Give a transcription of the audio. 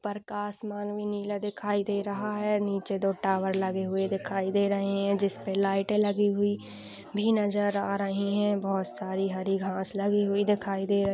पर का आसमान भी नीला दिखाई दे रहा है। नीचे दो टावर लगे हुए दिखाई दे रहे हैं जिसपे लाईटें लगी हुई भी नजर आ रहीं हैं। बोहोत सारी हरी घास लगी हुई दिखाई दे --